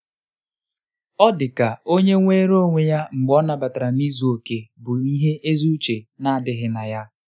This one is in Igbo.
ọ́ dịka ónyé nwere onwe ya mgbe ọ́ nàbatara na izu oke bụ́ ihe ezi uche nà-ádị́ghị́ na ya.